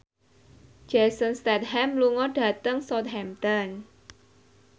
Jason Statham lunga dhateng Southampton